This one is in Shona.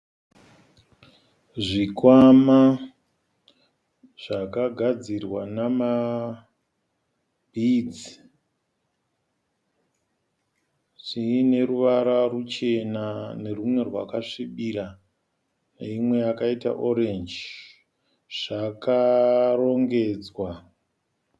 Zvikwama zvakagadzirwa namabhidzi zviine ruvara ruchena, nerwumwe rwakasvibira, neimwe yakaita orenji, zvakarongedzwa.